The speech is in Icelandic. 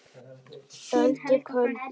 Öldu köldu